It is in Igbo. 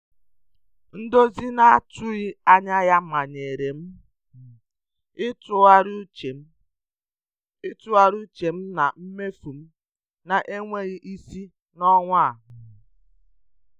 Ndozi na-atụghị anya ya manyere um m ịtụgharị uche m ịtụgharị uche na mmefu m na-enweghị isi n'ọnwa um a.